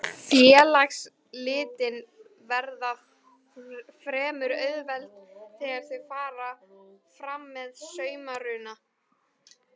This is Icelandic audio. Félagsslitin verða fremur auðveld þegar þau fara fram með samruna.